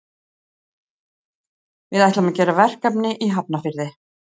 Við ætlum að gera verkefni í Hafnarfirði.